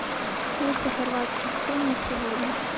курсы хорватских кун на сегодня